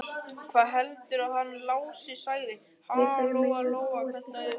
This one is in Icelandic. Hvað heldurðu að hann Lási segði, ha, Lóa Lóa, kallaði hún.